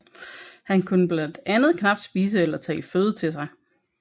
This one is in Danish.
Han kunne blandt andet knapt spise eller tage føde til sig